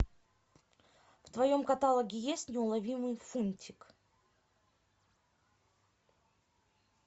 в твоем каталоге есть неуловимый фунтик